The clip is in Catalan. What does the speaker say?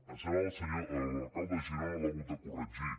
ens sembla que l’alcalde de girona l’ha hagut de corregir